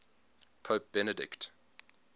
pope benedict